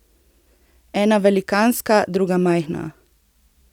Ena velikanska, druga majhna.